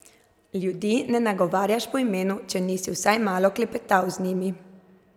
Ljudi ne nagovarjaš po imenu, če nisi vsaj malo klepetal z njimi.